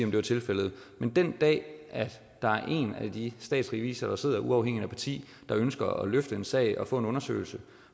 var tilfældet men den dag at der er en af de statsrevisorer der sidder uafhængigt af parti der ønsker at løfte en sag og få en undersøgelse